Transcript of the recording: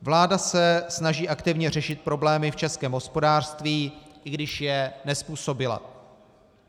Vláda se snaží aktivně řešit problémy v českém hospodářství, i když je nezpůsobila.